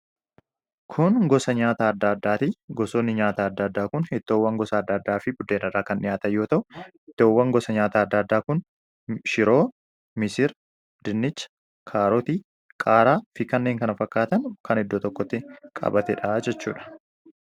Kun gosa nyaataa adda addaa ti. Gosoonni nyaataa adda addaa kun ittoowwan gosa adda addaa fi biddeen irraa kan dhiyaatan yoo ta'u, ittoowwan gosa nyaataa adda addaa kun shiroo, misira, dinnicha, kaarotii, qaaraa fi kanneen kana fakkaatan kan iddoo tokkotti qabatee dha jechuu dha.